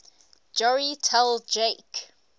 joey tell jake